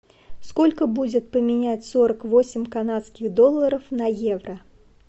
сколько будет поменять сорок восемь канадских долларов на евро